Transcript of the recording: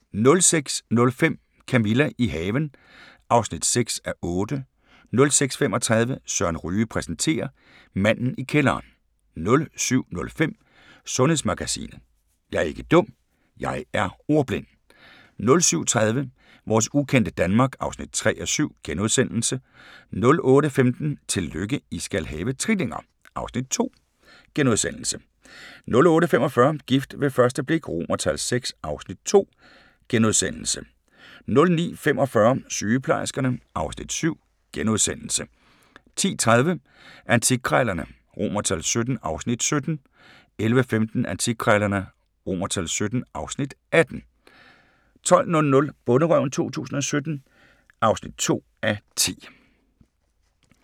06:05: Camilla – i haven (6:8) 06:35: Søren Ryge præsenterer: Manden i kælderen 07:05: Sundhedsmagasinet: Jeg er ikke dum – jeg er ordblind 07:30: Vores ukendte Danmark (3:7)* 08:15: Tillykke, I skal have trillinger! (Afs. 2)* 08:45: Gift ved første blik VI (Afs. 2)* 09:45: Sygeplejerskerne (Afs. 7)* 10:30: Antikkrejlerne XVII (Afs. 17) 11:15: Antikkrejlerne XVII (Afs. 18) 12:00: Bonderøven 2017 (2:10)